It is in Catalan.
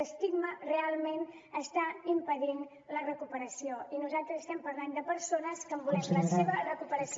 l’estigma realment està impedint la recuperació i nosaltres estem parlant de persones que en volem la seva recuperació